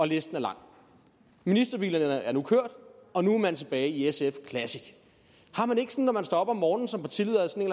listen er lang ministerbilerne er nu kørt og nu er man tilbage ved sf classic har man ikke når man står op om morgenen som partileder